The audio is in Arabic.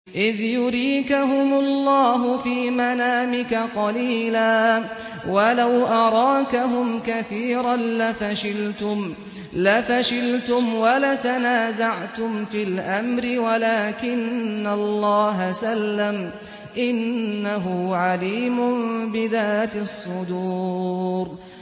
إِذْ يُرِيكَهُمُ اللَّهُ فِي مَنَامِكَ قَلِيلًا ۖ وَلَوْ أَرَاكَهُمْ كَثِيرًا لَّفَشِلْتُمْ وَلَتَنَازَعْتُمْ فِي الْأَمْرِ وَلَٰكِنَّ اللَّهَ سَلَّمَ ۗ إِنَّهُ عَلِيمٌ بِذَاتِ الصُّدُورِ